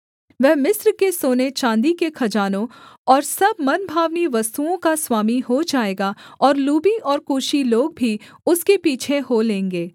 वह मिस्र के सोने चाँदी के खजानों और सब मनभावनी वस्तुओं का स्वामी हो जाएगा और लूबी और कूशी लोग भी उसके पीछे हो लेंगे